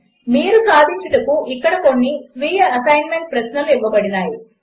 మీరు సాధించుటకు ఇక్కడ కొన్ని స్వీయ అసెస్మెంట్ ప్రశ్నలు ఇవ్వబడినవి